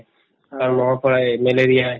কাৰণ মহৰ পৰাই malaria